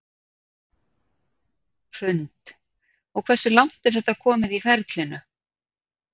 Hrund: Og hversu langt er þetta komið í ferlinu?